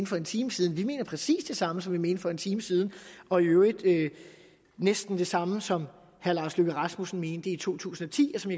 for en time siden vi mener præcis det samme som vi mente for en time siden og i øvrigt næsten det samme som herre lars løkke rasmussen mente i to tusind og ti og som